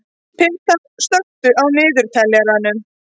Peta, slökktu á niðurteljaranum.